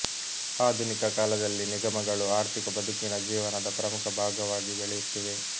ಆಧುನಿಕ ಕಾಲದಲ್ಲಿ ನಿಗಮಗಳು ಆರ್ಥಿಕ ಬದುಕಿನ ಜೀವನದ ಪ್ರಮುಖ ಭಾಗವಾಗಿ ಬೆಳೆಯುತ್ತಿವೆ